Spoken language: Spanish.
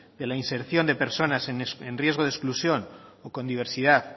de la inserción de personas en riesgo de exclusión o con diversidad